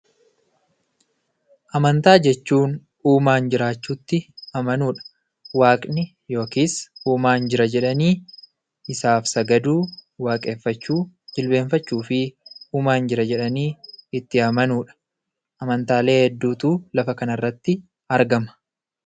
Amantaa jechuun Uumaan jiraachuutti amanuudha. Waaqni yookiin Uumaan jira jedhanii isaaf sagaduu, waaqeffachuu, jilbeeffachuufiidha. Lafa kana irrattis amantaalee hedduutu argama.